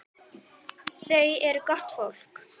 Þau eru gott fólk.